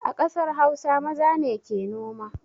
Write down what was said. A ƙasar hausa maza ne ke noma